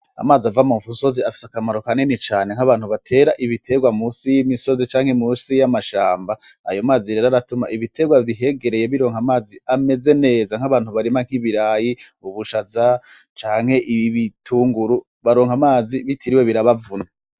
Amazi ava mu musozi afise akamaro kanini cane nk'abantu batera ibiterwa musi y'umisozi canke musi y'amashamba ayo mazi rero aratuma ibiterwa bihegereye bironka amazi ameze neza nk'abantu barima nk'ibirayi ubushaza canke ibitunguru bakaronka amazi bitiriwe birabavuna.